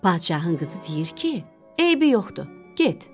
Padşahın qızı deyir ki, eybi yoxdur, get.